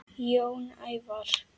Jón Ævar.